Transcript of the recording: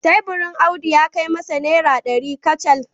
Teburin Audu ya kai masa naira dari kacal